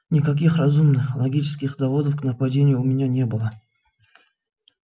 никаких разумных логических доводов к нападению у меня не было